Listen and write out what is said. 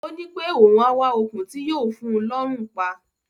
Ó ní pé òun á wá okùn tí yóò fun lọ́hùn pa.